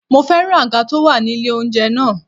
Mo féràn àga tó wà ní ilé oúnjẹ náà.